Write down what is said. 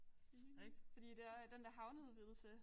Enig fordi der den der havneudvidelse